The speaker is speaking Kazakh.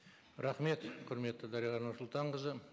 рахмет құрметті дариға нұрсұлтанқызы